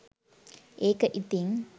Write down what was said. ඒක ඉතින්